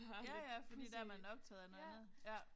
Ja ja fordi der er man optaget af noget andet ja